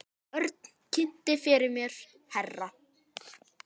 Örn kynnti fyrir mér herra